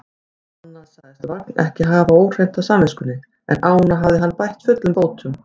Annað sagðist Vagn ekki hafa óhreint á samviskunni, en ána hafði hann bætt fullum bótum.